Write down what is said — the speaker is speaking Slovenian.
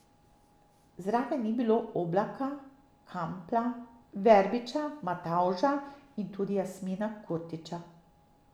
Zraven ni bilo Oblaka, Kampla, Verbiča, Matavža in tudi Jasmina Kurtića.